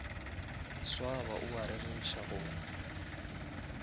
swaba o a rereša go